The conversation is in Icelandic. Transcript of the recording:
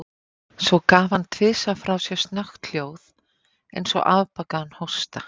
Svo gaf hann tvisvar frá sér snöggt hljóð, eins og afbakaðan hósta.